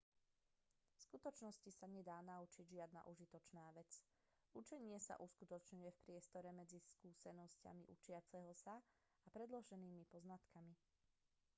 v skutočnosti sa nedá naučiť žiadna užitočná vec učenie sa uskutočňuje v priestore medzi skúsenosťami učiaceho sa a predloženými poznatkami